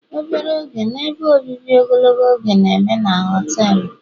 obere oge na ebe obibi ogologo oge na-eme na họtelu